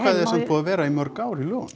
að vera í mörg ár í lögunum